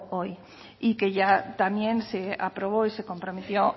hoy y que ya también se aprobó y se comprometió